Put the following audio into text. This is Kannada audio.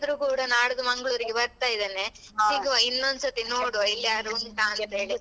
ಕೂಡ ನಾಡ್ದು ಮಂಗ್ಲೂರ್ ಗೆ ಬರ್ತಾ ಇದ್ದೇನೆ ಸಿಗುವ ಇನ್ನೊಂದ್ ಸತಿ ನೋಡುವ ಇಲ್ಲಿಯಾದ್ರೂ ಉಂಟಂತೇಳಿ.